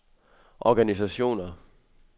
organisationer